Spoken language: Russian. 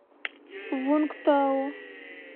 вунгтау